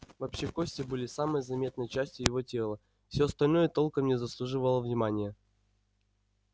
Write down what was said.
вообще кости были самой заметной частью его тела всё остальное толком не заслуживало внимания